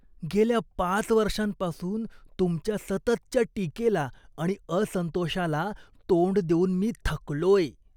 गेल्या पाच वर्षांपासून तुमच्या सततच्या टीकेला आणि असंतोषाला तोंड देऊन मी थकलोय.